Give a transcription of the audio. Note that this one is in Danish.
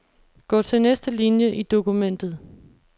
Gå til næste linie i dokumentet.